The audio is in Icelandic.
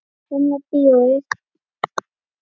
Gamla bíói.